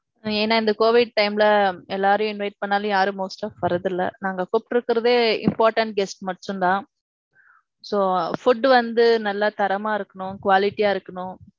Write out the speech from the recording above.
ஏனா இந்த Covid time ல எல்லாரையும் invite பண்ணாலும் யாரும் most டா வர்ரதுல்ல. நாங்க கூப்டுருக்கிறதே important guest மட்டும் தான். so, food வந்து நல்லா தரமா இருக்கணும். quality அ இருக்கணும்.